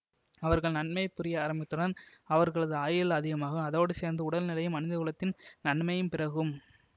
அவர்கள் நன்மை புரிய ஆரம்பித்தவுடன் அவர்களது ஆயுள் அதிகமாகும் அதோடு சேர்ந்து உடல்நிலையும் மனிதகுலத்தின் நன்மையும் பிறகும்